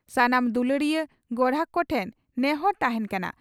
ᱥᱟᱱᱟᱢ ᱫᱩᱞᱟᱹᱲᱤᱭᱟᱹ ᱜᱚᱨᱦᱟᱠ ᱠᱚᱴᱷᱮᱱ ᱱᱮᱦᱚᱨ ᱛᱟᱦᱮᱸᱱ ᱠᱟᱱᱟ